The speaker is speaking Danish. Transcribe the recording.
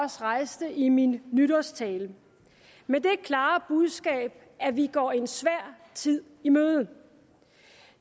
rejste i min nytårstale med det klare budskab at vi går en svær tid i møde